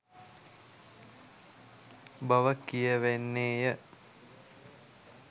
බව කියැවෙන්නේ ය